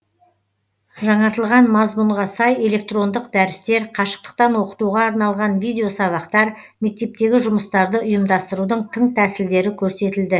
жаңартылған мазмұнға сай электрондық дәрістер қашықтықтан оқытуға арналған видоесабақтар мектептегі жұмыстарды ұйымдастырудың тың тәсілдері көрсетілді